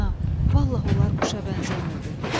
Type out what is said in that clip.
Ana, vallah onlar quşa bənzəmirdi.